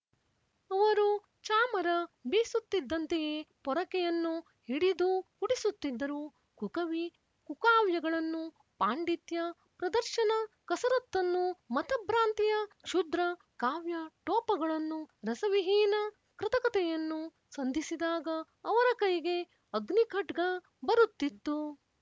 ಅವರು ಚಾಮರ ಬೀಸುತ್ತಿದ್ದಂತೆಯೇ ಪೊರಕೆಯನ್ನು ಹಿಡಿದೂ ಗುಡಿಸುತ್ತಿದ್ದರು ಕುಕವಿ ಕುಕಾವ್ಯಗಳನ್ನು ಪಾಂಡಿತ್ಯ ಪ್ರದರ್ಶನ ಕಸರತ್ತನ್ನು ಮತಭ್ರಾಂತಿಯ ಕ್ಷುದ್ರ ಕಾವ್ಯಟೋಪಗಳನ್ನು ರಸವಿಹೀನ ಕೃತಕತೆಯನ್ನು ಸಂಧಿಸಿದಾಗ ಅವರ ಕೈಗೆ ಅಗ್ನಿ ಖಡ್ಗ ಬರುತ್ತಿತ್ತು